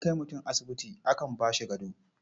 Idan an kai mutum asibiti akan ba shi gado.